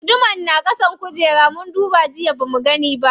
Gudumar na ƙasan kujera, mun duba jiya bamu gani ba.